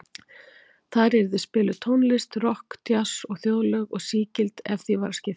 Þar yrði spiluð tónlist, rokk, djass og þjóðlög, og sígild ef því var að skipta.